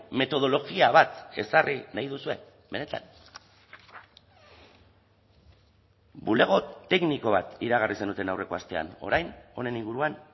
metodologia bat ezarri nahi duzue benetan bulego tekniko bat iragarri zenuten aurreko astean orain honen inguruan